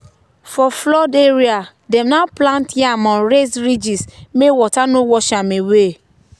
for flood area dem now plant yam on raised ridges make water no wash am away.